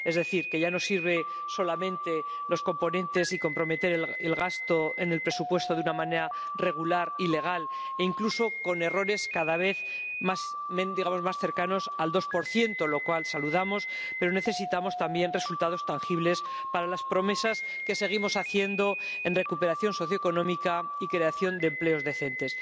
Es decir, que ya no sirven solamente los componentes y comprometer el gasto en el presupuesto de una manera regular y legal, e incluso con errores cada vez más cercanos al 2 lo cual saludamos, pero necesitamos también resultados tangibles para las promesas que seguimos haciendo en materia de recuperación socioeconómica y creación de empleos dignos.